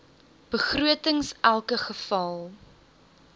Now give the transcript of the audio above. begrotings elke geval